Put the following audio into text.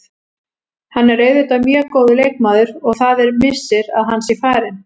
Hann er auðvitað mjög góður leikmaður og það er missir að hann sé farinn.